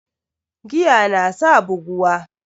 Giya nasa buguwa